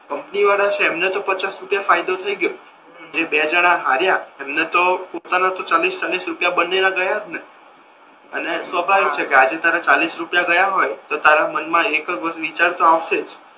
company વાળા છે એમને તો પચાસ રૂપિયા ફાયદો થઈ ગયો ને હમ જે બે જણા હાર્યા એમને તો પોતાના તો ચાલીસ ચાલીસ રૂપિયા બને ના ગયા જ ને અને સ્વભાવિક છે કે આજે તારા ચાલીસ રૂપિયા ગયા હોય તો તારા મન મા એક જ વિચાર તો આવશે જ